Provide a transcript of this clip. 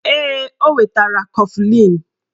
Ee, o wetara kọflịn